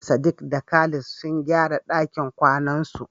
Sadiq da Khalid sun gyara dakin kwanansu.